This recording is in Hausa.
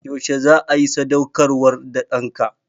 Yaushe za a yi sadaukarwar da ɗanka?